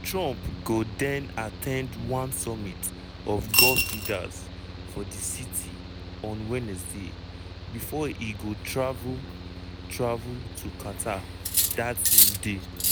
trump go den at ten d one summit of gulf leaders for di city on wednesday bifor e go travel travel to qatar dat same day.